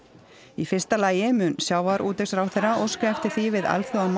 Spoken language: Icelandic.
í fyrsta lagi mun sjávarútvegsráðherra óska eftir því við